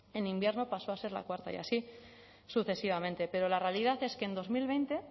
en invierno pasó a ser la cuarta y así sucesivamente pero la realidad es que en dos mil veinte